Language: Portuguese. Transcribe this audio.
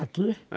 Aqui?